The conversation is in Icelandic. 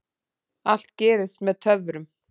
Allt gerist með töfrum.